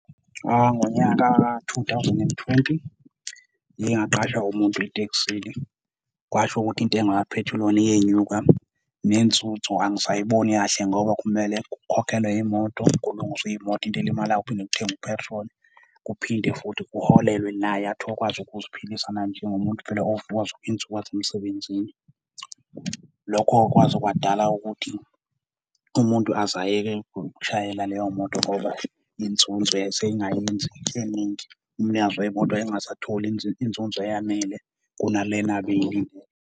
Ngonyaka ka-2020 ngike ngaqashwa umuntu etekisini, kwasho ukuthi intenga kaphethiloli iyenyuka, nenzozo angisayiboni kahle ngoba kumele kukhokhelwe imoto, kulungiswe imoto into elimalayo, kuphinde kuthengwe u-petrol. Kuphinde futhi kuholelwe naye athi akwazi ukuziphilisa naye njengomuntu vele ovuka zonke izinsuku aze emsebenzini. Lokho kwaze kwadala ukuthi umuntu aze ayeke ukushayela leyo moto ngoba inzuzo yayiseyingayenzi eningi, umnikazi wemoto wayengasatholi inzuzo eyanele kuna le abeyilindele.